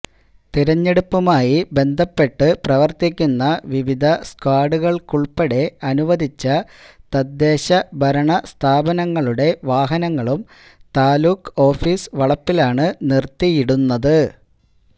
തെരഞ്ഞെടുപ്പ് മായി ബന്ധപ്പെട്ട് പ്രവര്ത്തിക്കുന്ന വിവിധ സ്ക്വാഡുകള്ക്കുള്പ്പടെ അനുവദിച്ച തദ്ദേശ ഭരണ സ്ഥാപനങ്ങളുടെ വാഹനങ്ങളും താലൂക്ക് ഓഫീസ് വളപ്പിലാണ് നിര്ത്തിയിടുന്നത്